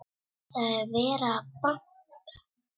Það er verið að banka!